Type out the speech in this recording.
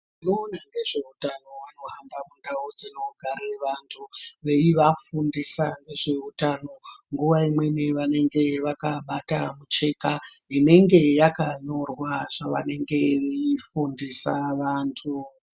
Vanoona ngezveutano vanohamba mundau dzinogare vantu, veivafundisa ngezveutano. Nguwa imweni vanenge vakabata mucheka ,inenge yakanyorwa zvaanenge veifundisa vantu.